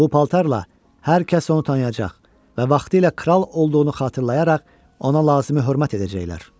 Bu paltarla hər kəs onu tanıyacaq və vaxtilə kral olduğunu xatırlayaraq ona lazımi hörmət edəcəklər.